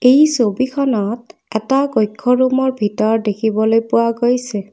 এই ছবিখনত এটা কক্ষ ৰোম ৰ ভিতৰ দেখিবলৈ পোৱা গৈছে।